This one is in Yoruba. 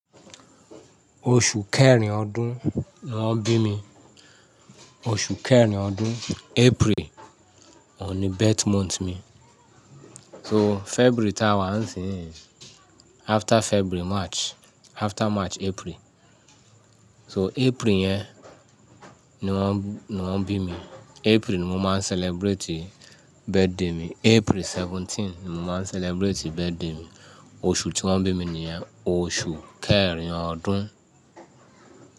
Oṣù kẹrin ọdún ni wọ́n bí mi, oṣù kẹrin ọdún April òun ni birth month mi. So February táwa, after February March, after March April. So April yẹn ni wọ́n, ni wọ́n bí mi. April ni mo máa ń celebrate birthday mi. April seventeen ni mo máa ń celebrate birthday mi. Oṣù tí wọ́n bí mi nìyẹn, oṣù kẹrin ọdún.